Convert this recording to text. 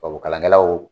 Tubabukalankɛlaw